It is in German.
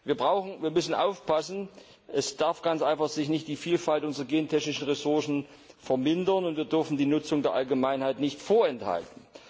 Wir müssen also aufpassen Es darf sich ganz einfach nicht die Vielfalt unserer gentechnischen Ressourcen vermindern, und wir dürfen die Nutzung der Allgemeinheit nicht vorenthalten.